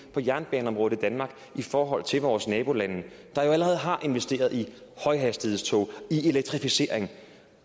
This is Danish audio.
på jernbaneområdet i danmark i forhold til vores nabolande der jo allerede har investeret i højhastighedstog i elektrificering